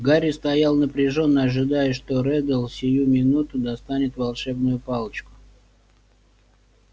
гарри стоял напряжённо ожидая что реддл сию минуту достанет волшебную палочку